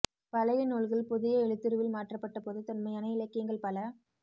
பழைய நூல்கள் புதிய எழுத்துருவில் மாற்றப்பட்டபோது தொன்மையான இலக்கியங்கள் பல